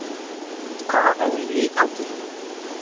Hvað er eiginlega í gangi hjá mér?